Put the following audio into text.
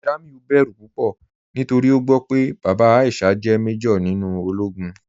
Jamiu bẹ̀rù púpọ̀ nítorí o gbọ́ pé bàbá Aisha jẹ́ màjọ̀r nínú òlógún.